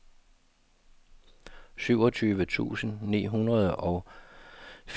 syvogtyve tusind ni hundrede og fireogfyrre